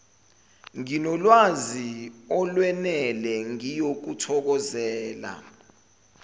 nginolwazi olwenele ngiyokuthokozela